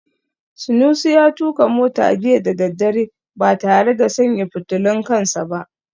Sunusi ya tuka mota jiya da daddare ba tare da sanya fitulun kan sa ba